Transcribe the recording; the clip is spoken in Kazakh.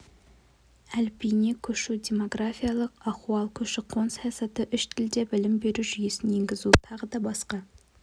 әліпбиіне көшу демографиялық ахуал көші-қон саясаты үш тілде білім беру жүйесін енгізу тағы да басқа